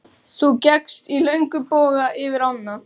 Þú gekkst í löngum boga yfir ána.